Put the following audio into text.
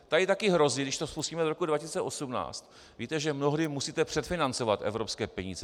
Tady taky hrozí, když to spustíme do roku 2018, víte, že mnohdy musíte předfinancovat evropské peníze.